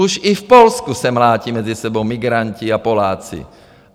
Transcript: Už i v Polsku se mlátí mezi sebou migranti a Poláci.